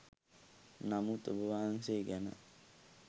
නමුත් ඔබවහන්සේ ගැන